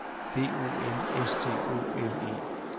D O M S T O L E